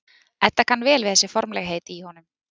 Edda kann vel við þessi formlegheit í honum.